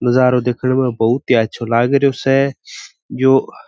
नजरो देखने में बहुत ही अच्छा लागेरो स यो --